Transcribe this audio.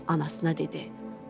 Anasına dedi: